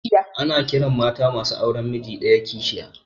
Ana ƙiran mata masu auren miji ɗaya kishiya